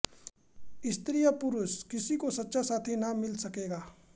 स्त्री या पुरुष किसी को सच्चा साथी न मिल सकेगा